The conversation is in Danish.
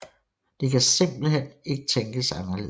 Det kan simpelt hen ikke tænkes anderledes